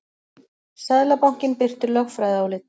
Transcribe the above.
Seðlabankinn birtir lögfræðiálit